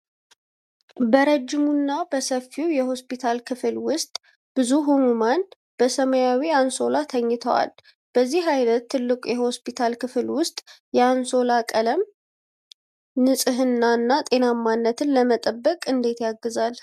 በረጅሙና በሰፊው የሆስፒታል ክፍል ውስጥ ብዙ ህሙማን በሰማያዊ አንሶላ ተኝተዋል። በዚህ ዓይነት ትልቅ የሆስፒታል ክፍል ውስጥ የአንሶላ ቀለም (ሰማያዊ) ንጽሕናንና ጤናማነትን ለመጠበቅ እንዴት ያግዛል?